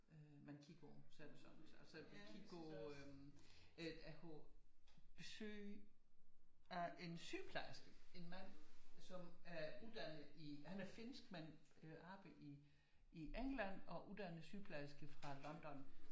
Man kigger på så er det så altså man kan kigge på øh ej en sygeplejerske en mand som er uddannet i han er finskmand oppe i England og uddannet sygeplejerske fra London